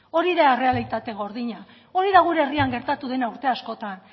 hori da errealitate gordina hori da gure herrian gertatu dena urte askotan